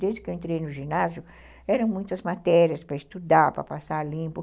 Desde que eu entrei no ginásio, eram muitas matérias para estudar, para passar limpo.